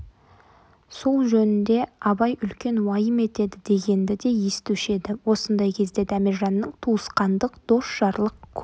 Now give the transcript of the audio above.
сол жөнде абай үлкен уайым етеді дегенді де естуші еді осындай кезде дәмежанның туысқандық дос-жарлық көңіл